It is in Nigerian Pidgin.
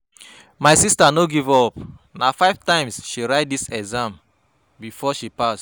My sista no give-up, na five times she write di exam before she pass.